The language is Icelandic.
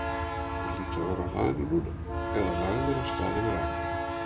Hann hlýtur að vera á hlaðinu núna- eða lagður af stað yfir akrana.